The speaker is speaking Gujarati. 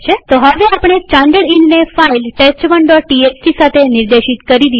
તો હવે આપણે સ્ટાનડર્ડઈનને ફાઈલ test1ટીએક્સટી સાથે નિર્દેશિત કરી દીધી છે